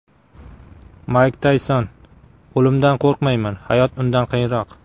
Mayk Tayson: O‘limdan qo‘rqmayman, hayot undan qiyinroq.